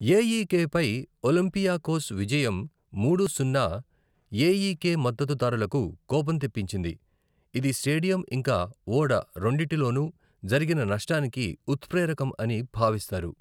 AEK పై Olympiacos విజయం, మూడు సున్నా , ఏఈకె మద్దతుదారులకు కోపం తెప్పించింది, ఇది స్టేడియం ఇంకా ఓడ రెండింటిలోనూ జరిగిన నష్టానికి ఉత్ప్రేరకం అని భావిస్తారు.